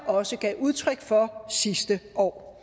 også gav udtryk for sidste år